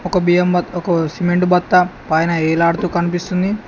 ఒక బియ్యం బత్తకు సిమెంట్ బత్త పైన వేలాడుతూ కనిపిస్తుంది.